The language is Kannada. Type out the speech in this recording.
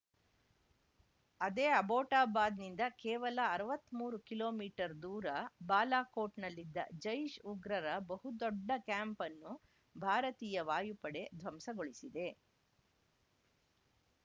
ಅದೇ ಅಬೋಟಾಬಾದ್‌ನಿಂದ ಕೇವಲ ಅರವತ್ತ್ಮೂರು ಕಿಲೋ ಮೀಟರ್ ದೂರ ಬಾಲಾಕೋಟ್‌ನಲ್ಲಿದ್ದ ಜೈಷ್‌ ಉಗ್ರರ ಬಹುದೊಡ್ಡ ಕ್ಯಾಂಪ್‌ ಅನ್ನು ಭಾರತೀಯ ವಾಯುಪಡೆ ಧ್ವಂಸಗೊಳಿಸಿದೆ